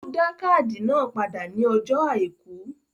Ó dá káàdì náà padà ní ọjó àìkú